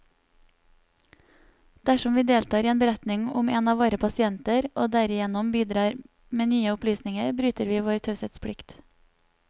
Dersom vi deltar i en beretning om en av våre pasienter, og derigjennom bidrar med nye opplysninger, bryter vi vår taushetsplikt.